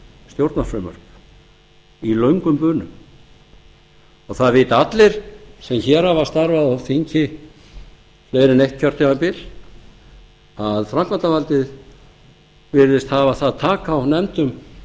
stjórnarfrumvörp í löngum bunum það vita allir sem hér hafa starfað á þingi meira en eitt kjörtímabil að framkvæmdarvaldið virðist hafa það tak á nefndum